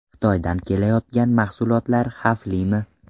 Xitoydan kelayotgan mahsulotlar xavflimi?